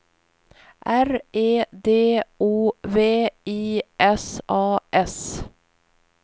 R E D O V I S A S